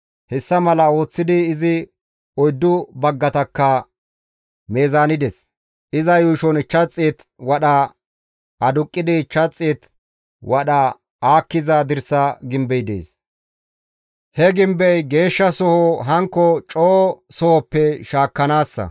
Hessa mala ooththidi izi oyddu baggatakka mizaanides. Iza yuushon 500 wadha aduqqidi, 500 wadha aakkiza dirsa gimbey dees. He gimbey geeshshasoho hankko coo sohoppe shaakkanaassa.